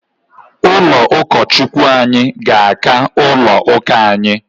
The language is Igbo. Ụlọ ụkọ Chukwu anyị ga-aka ụlọ ụka anyi